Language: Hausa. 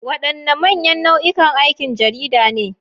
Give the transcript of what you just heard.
Wadanne manyan nau'ikan aikin jarida ne?